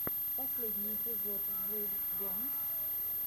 последний эпизод вулфгэнг